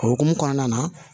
O hokumu kɔnɔna na